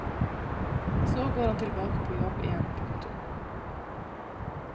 Så går han tilbake på jobb igjen. punktum